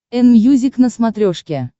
энмьюзик на смотрешке